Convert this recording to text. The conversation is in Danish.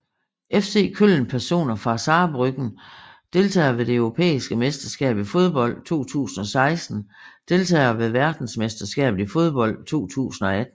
FC Köln Personer fra Saarbrücken Deltagere ved det europæiske mesterskab i fodbold 2016 Deltagere ved verdensmesterskabet i fodbold 2018